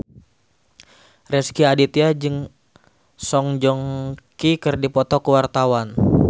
Rezky Aditya jeung Song Joong Ki keur dipoto ku wartawan